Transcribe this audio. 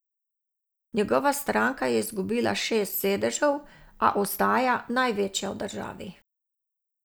Njegova stranka je izgubila šest sedežev, a ostaja največja v državi.